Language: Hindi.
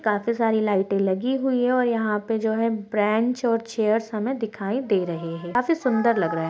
काफी सारी लाइटें लगी हुई है और यहाँ पे जो है बेंच और चेयर्स हमें दिखाई दे रही है काफी सुंदर लग रहा है।